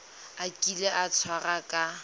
a kile a tshwarwa ka